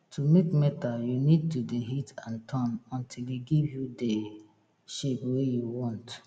to make metal you need to de hit and turn until e give you dey shape wey you want